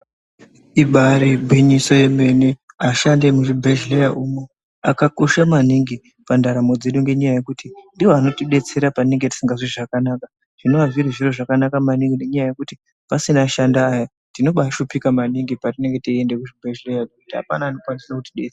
Ibaari gwinyiso remene, ashandi emuchibhedhlera umo akakosha maningi pandaramo dzedu ngenyaya yekuti ndiwo anotidetsera patinenge tisikazwi zvakanaka, zvinova zviri zviro zvakanaka maningi ngenyaya yekuti pasina ashandiya tinoba tashuphika maningi petinenge teiende kuchibhedhlera ngokuti apana anenge echikwanisa kutidetsera.